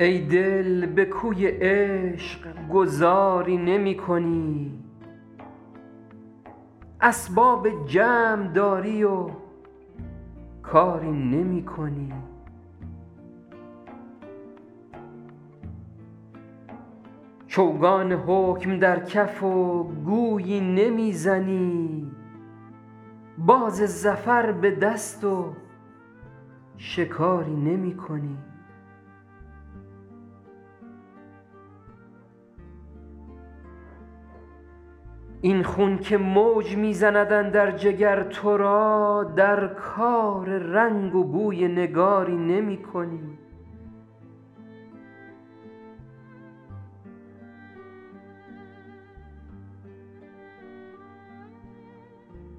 ای دل به کوی عشق گذاری نمی کنی اسباب جمع داری و کاری نمی کنی چوگان حکم در کف و گویی نمی زنی باز ظفر به دست و شکاری نمی کنی این خون که موج می زند اندر جگر تو را در کار رنگ و بوی نگاری نمی کنی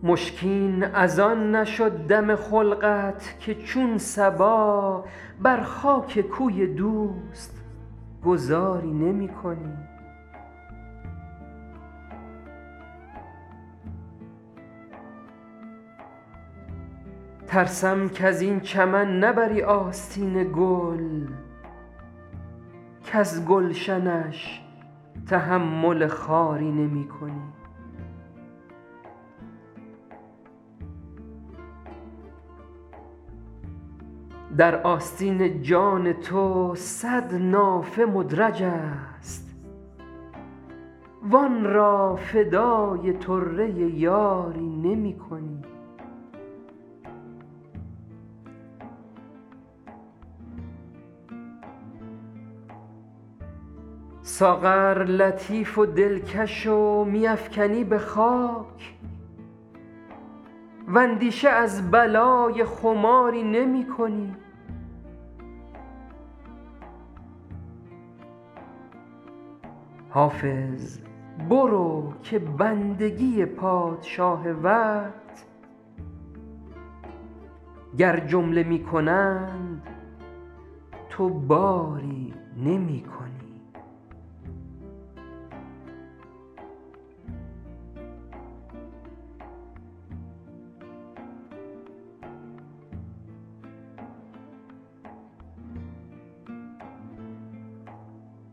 مشکین از آن نشد دم خلقت که چون صبا بر خاک کوی دوست گذاری نمی کنی ترسم کز این چمن نبری آستین گل کز گلشنش تحمل خاری نمی کنی در آستین جان تو صد نافه مدرج است وآن را فدای طره یاری نمی کنی ساغر لطیف و دلکش و می افکنی به خاک واندیشه از بلای خماری نمی کنی حافظ برو که بندگی پادشاه وقت گر جمله می کنند تو باری نمی کنی